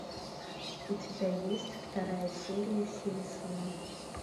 у тебя есть вторая серия симпсоны